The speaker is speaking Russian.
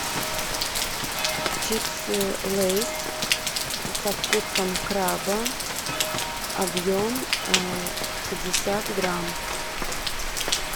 чипсы лейс со вкусом краба объем пятьдесят грамм